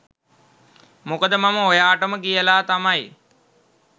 මොකද මම ඔයාටම කියලා තමයි